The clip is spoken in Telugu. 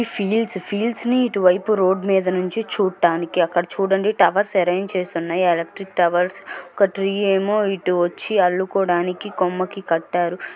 ఫీల్స్ ఫీల్స్ ని ఇటు వైపు రోడ్డు మీద నుంచి చూడటానికి. అక్కడ చూడండి టవర్స్ ఆరెంజ్ చేసి ఉన్నాయి. Electric towers . ఒక ట్రీ ఏమో ఇటు వచ్చి అల్లుకోడానికి కొమ్మకి కట్టారు.